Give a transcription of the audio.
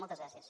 moltes gràcies